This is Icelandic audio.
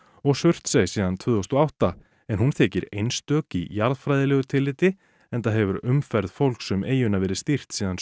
Surtsey síðan tvö þúsund og átta en hún þykir einstök í jarðfræðilegu tilliti enda hefur umferð fólks um eyjuna verið stýrt síðan